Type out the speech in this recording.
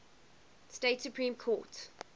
state supreme court